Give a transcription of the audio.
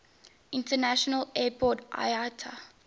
international airport iata